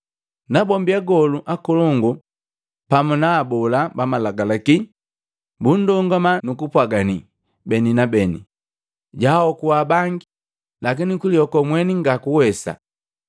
Nabombi agolu akolongu pamu na abola bamalagalaki bundongama nu kumpwagani beni na beni, “Jahokua bangi, lakini kulihoko mweni ngakuwesa!